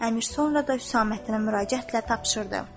Əmir sonra da Husaməddinə müraciətlə tapşırdı.